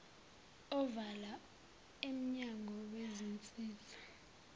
ovela emnyango wezinsiza